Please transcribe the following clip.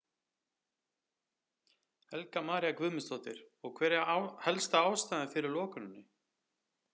Helga María Guðmundsdóttir: Og hver er helsta ástæðan fyrir lokuninni?